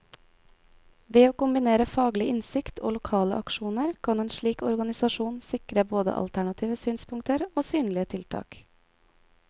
Ved å kombinere faglig innsikt og lokale aksjoner, kan en slik organisasjon sikre både alternative synspunkter og synlige tiltak.